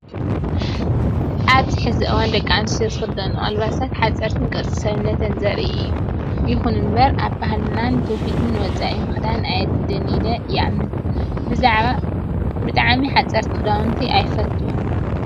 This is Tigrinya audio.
ኣብዚ ሕዚ እዋን ደቂ ኣንስትዮ ዝኽደነኦ ኣልባሳት ሐፀርትን ቅርፂ ሰብነተን ዘርኢ እዩ። እኹን እምበር ካብ ባህልናን ትውፊትናን ወፃኢ ምክዳን ኣየድልን ኢለ ይኣምን። ብዛዕሚ ሓፀርቲ ክዳውንቲ ኣይፈትውን።